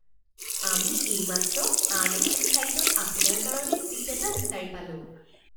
আমি এইমাত্ৰ আন এখন ফ্লাইটত আপোনাৰ কাৰণে ছীট এটা বিচাৰি পালোঁ